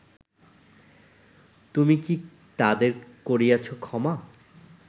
তুমি কী তাদের করিয়াছ ক্ষমা